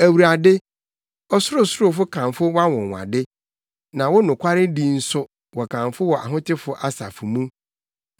Awurade, ɔsorosorofo kamfo wʼanwonwade, na wo nokwaredi nso, wɔkamfo wɔ ahotefo asafo mu.